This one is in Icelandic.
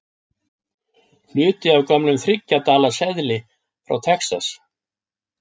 Hluti af gömlum þriggja dala seðli frá Texas.